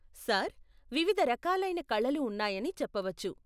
Sir, వివిధ రకాలైన కళలు ఉన్నాయని చెప్పవచ్చు.